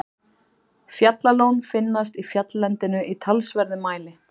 Fjallaljón finnast í fjalllendinu í talsverðum mæli.